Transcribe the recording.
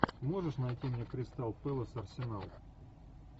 можешь найти мне кристал пэлас арсенал